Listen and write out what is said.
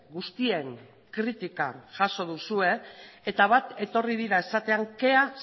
guztien kritika jaso duzue eta bat etorri dira esatean kea